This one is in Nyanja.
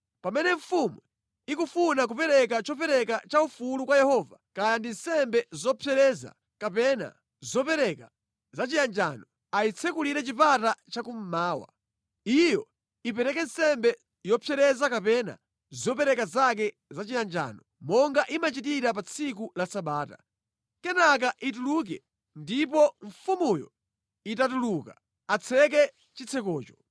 Pamene mfumu ikufuna kupereka chopereka chaufulu kwa Yehova, kaya ndi nsembe yopsereza kapena zopereka za chiyanjano, ayitsekulire chipata chakummawa. Iyo ipereke nsembe yopsereza kapena zopereka zake za chiyanjano monga imachitira pa tsiku la Sabata. Kenaka ituluke ndipo mfumuyo itatuluka, atseke chitsekocho.